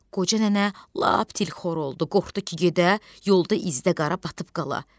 Qoca nənə lap tilxor oldu, qorxdu ki, gedə, yolda izdə qara batıb qala.